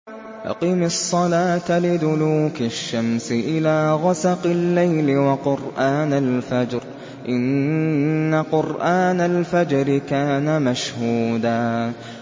أَقِمِ الصَّلَاةَ لِدُلُوكِ الشَّمْسِ إِلَىٰ غَسَقِ اللَّيْلِ وَقُرْآنَ الْفَجْرِ ۖ إِنَّ قُرْآنَ الْفَجْرِ كَانَ مَشْهُودًا